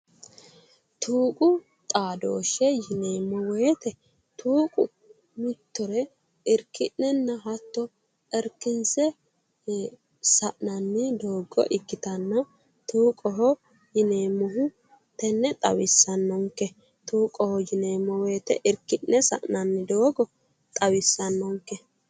Tuqu xadooshshe:-tuuqu xadooshshe yineemmo woyiite tuuqu mittore iriki'neemmo woyiite iriki'nenna hatto irikinse sa'nanni doogo ikitanna tuuqqoho yineemmohu tenne xawissanonke tuuqqoho yineemmo woyite iriki'ne sa'nanni doogo xawissanonke